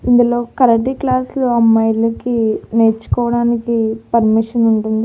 ఇందులో కరాటే క్లాసులు అమ్మాయిలకి నేర్చుకోవడానికి పర్మిషన్ ఉంటుంది.